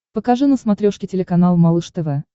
покажи на смотрешке телеканал малыш тв